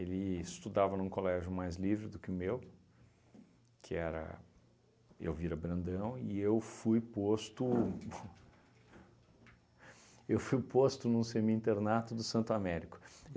Ele estudava num colégio mais livre do que o meu, que era Elvira Brandão, e eu fui posto eu fui posto num semi-internato do Santo Américo.